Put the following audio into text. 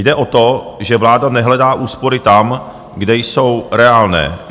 Jde o to, že vláda nehledá úspory tam, kde jsou reálné.